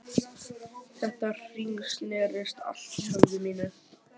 Þetta hringsnerist allt í höfði mínu.